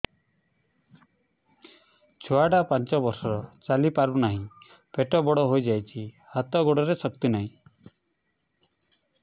ଛୁଆଟା ପାଞ୍ଚ ବର୍ଷର ଚାଲି ପାରୁ ନାହି ପେଟ ବଡ଼ ହୋଇ ଯାଇଛି ହାତ ଗୋଡ଼ରେ ଶକ୍ତି ନାହିଁ